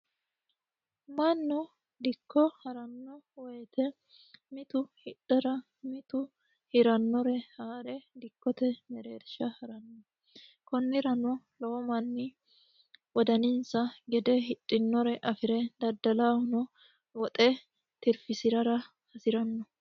Mannu dikko harano woyte mitu hidhara mitu hirara mittore amade konnirano lowo manni hidhinore amade woxe tirfisirara hasirano.